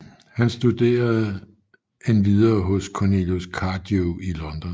Han studerende endvidere hos Cornelius Cardew i London